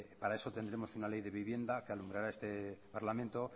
para eso tendremos una ley de vivienda que alumbrará este parlamento